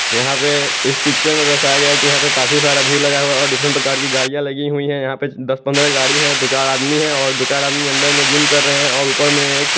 यहां पे इस पिक्चर में दर्शाया है कि यहां पे काफी सारा भीड़ लगा हुआ है और डिफरेंट प्रकार की गाड़ियां लगी हुई हैं यहां पे दस पंद्रह गाड़ी हैं दो चार आदमी हैं और दो चार आदमी अंदर में जिम कर रहे हैं और ऊपर में एक --